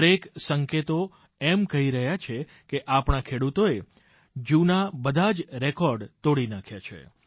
દરેક સંકેતો એમ કહી રહ્યા છે કે આપણા ખેડૂતોએ જૂના બધા જ રેકોર્ડ તોડી નાખ્યા છે